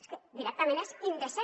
és que directament és indecent